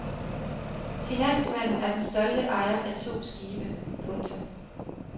Finansmanden er den stolte ejer af to skibe. punktum